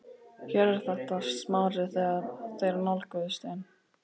Hér er þetta sagði Smári þegar þeir nálguðust inn